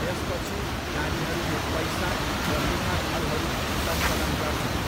त्यसपछि नानीहरूले पैसा र मिठा फलहरू सङ्कलन गर्छन्।